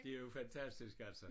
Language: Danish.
Det jo fantastisk altså